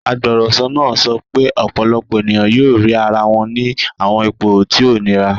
Agbọrọsọ naa sọ pe ọpọlọpọ eniyan yoo rii ara wọn ni awọn ipo ti o nira